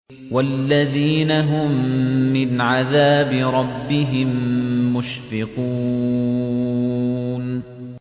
وَالَّذِينَ هُم مِّنْ عَذَابِ رَبِّهِم مُّشْفِقُونَ